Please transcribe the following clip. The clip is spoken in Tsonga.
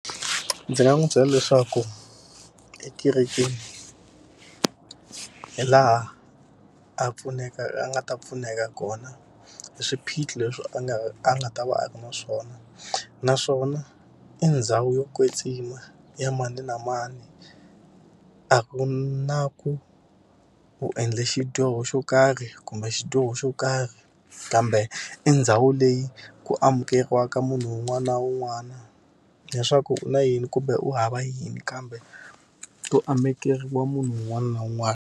Ndzi nga n'wi byela leswaku ekerekeni hi laha a pfuneka a nga ta pfuneka kona hi swiphiqo leswi a nga a nga ta va a ri na swona. Naswona i ndhawu yo kwetsima ya mani na mani, a ku na ku u endle xidyoho xo karhi kumbe xidyoho xo karhi kambe i ndhawu leyi ku amukeriwaka munhu un'wana na un'wana. Leswaku u na yini kumbe u hava yini kambe ku amukeriwa munhu un'wana na un'wana.